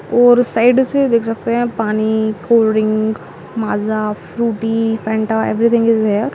और साइड से देख सकते है पानी cold drink Maaza Frooti Fanta everything is here.